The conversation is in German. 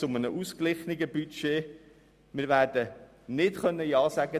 Zu einem ausgeglichenen Budget können wir Ja sagen.